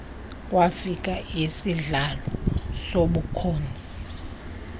wafika isihlalo sobukhosi